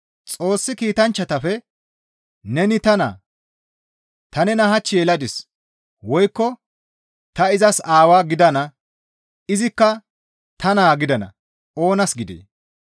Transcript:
Xoossi kiitanchchafe, «Neni ta naa; ta nena hach yeladis. Woykko ta izas Aawaa gidana; izikka ta naa gidana» oonas gidee?